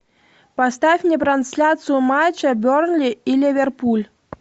поставь мне трансляцию матча бернли и ливерпуль